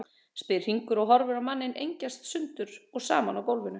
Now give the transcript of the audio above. spyr Hringur og horfir á manninn engjast sundur og saman á gólfinu.